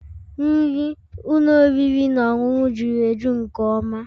Nri ụlọ oriri na ọṅụṅụ juru eju nke ọma